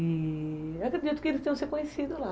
E acredito que eles tenham se conhecido lá